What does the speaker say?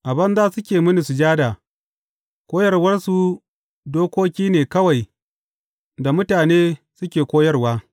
A banza suke mini sujada, koyarwarsu, dokoki ne kawai da mutane suke koyarwa.’